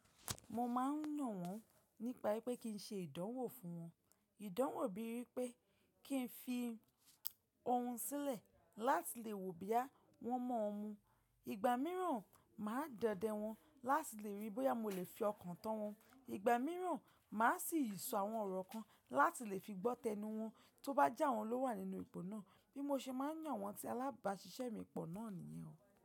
Mo máa ń yàn wọ́n nípa pé kí n ṣe ìdánwò fún wọn. Ìdánwò bíi wipé kí n fi ohun sílẹ̀ láti lè wò boya wọn mọ́ mú. Ìgbà mìíràn, màá dọdẹ wọ́n láti lè ríi bóyá mo lè fi ọkàn tán wọn. Ìgbà mìíràn, màá sì yí sọ àwọn ọ̀rọ̀ kan láti lè fi gbọ́ tẹnu wọn tó bá jẹ́ àwọn ló wà nínú ipò náà. Bí mo ṣe máa ń yàn àwọn tí alábàásisẹ́ mi pọ̀ náà nìyẹn.